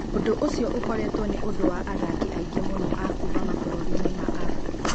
Ũndũ ũcio ũkoretwo nĩ ũndũ wa athaki aingĩ mũno a kuuma mabũrũri-inĩ ma Afrika.